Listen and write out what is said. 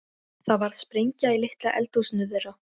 Það varð sprenging í litla eldhúsinu þeirra.